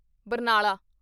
Barnala